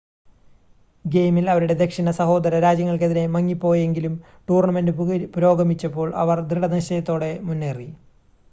ഗെയിമിൽ അവരുടെ ദക്ഷിണ സഹോദര രാജ്യങ്ങൾക്കെതിരെ മങ്ങിപ്പോയെങ്കിലും ടൂർണ്ണമെൻ്റ് പുരോഗമിച്ചപ്പോൾ അവർ ദൃഢനിശ്ചയത്തോടെ മുന്നേറി